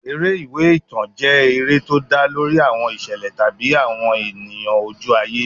Eré ìwé ìtàn jẹ́ eré tó dá lórí àwọn ìṣẹ̀lẹ̀ tàbí àwọn ènìyàn ojú ayé.